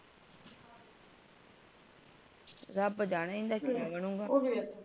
ਰਬੱਬ ਜਾਣੇ ਇਹਣਦਾ ਕੀਆ ਬਣੁਗਾ